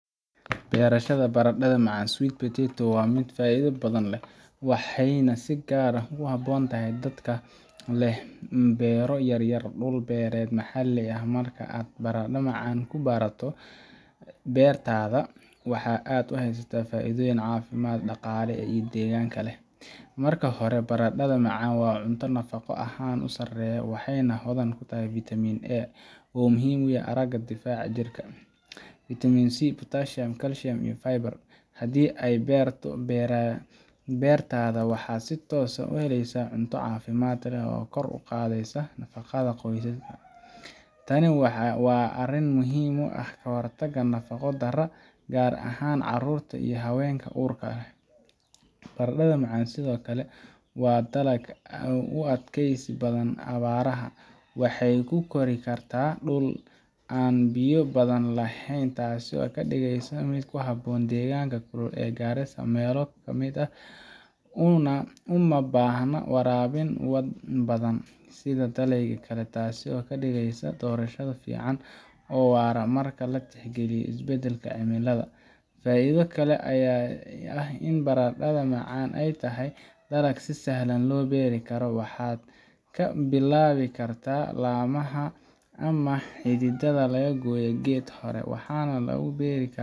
Beerashada baradhada macaan sweet potatoes waa mid aad u faa’iido badan, waxayna si gaar ah u habboon tahay dadka leh beero yaryar ama dhul beereed maxalli ah. Marka aad baradhada macaan ku barato beertaada, waxa aad helaysaa faa’iidooyin caafimaad, dhaqaale iyo deegaanba leh. Marka hore, baradhada macaan waa cunto nafaqo ahaan aad u sarreysa. Waxay hodan ku tahay Vitamin A oo muhiim u ah aragga iyo difaaca jirka, Vitamin C, potassium, calcium, iyo fiber. Haddii aad ku beerto beertaada, waxaad si toos ah u helaysaa cunto caafimaad leh oo kor u qaadaysa nafaqada qoyskaaga. Tani waa arrin muhiim u ah ka hortagga nafaqo-darrada, gaar ahaan carruurta iyo haweenka uurka leh. Baradhada macaan sidoo kale waa dalag u adkaysi badan abaaraha. Waxay ku kori kartaa dhul aan biyo badan lahayn, taasoo ka dhigeysa mid ku habboon deegaanka kulul ee Garissa ama meelo la mid ah. Uma baahna waraabin badan sida dalagyada kale, taasoo ka dhigeysa doorasho fiican oo waara marka la tixgeliyo isbeddelka cimilada. Faa’iido kale ayaa ah in baradhada macaan ay tahay dalag si sahlan loo beeri karo. Waxaad ka bilaabi kartaa laamaha ama xididdada laga gooyay geed hore, waxaana lagu beeri karaa